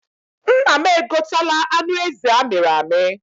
Nna m e gotela anụ ezi amịrị amị.